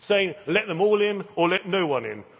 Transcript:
saying let them all in' or let no one in'